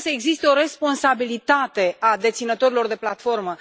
Trebuie să existe o responsabilitate a deținătorilor de platformă.